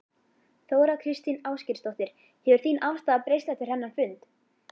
Þóra Kristín Ásgeirsdóttir: Hefur þín afstaða breyst eftir þennan fund?